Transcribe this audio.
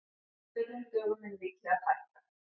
Þurrum dögum mun líklega fækka